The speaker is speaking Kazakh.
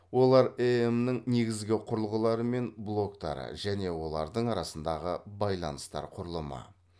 олар эем нің негізгі құрылғылары мен блоктары және олардың арасындағы байланыстар құрылымы